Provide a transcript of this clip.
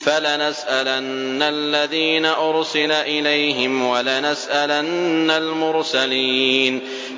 فَلَنَسْأَلَنَّ الَّذِينَ أُرْسِلَ إِلَيْهِمْ وَلَنَسْأَلَنَّ الْمُرْسَلِينَ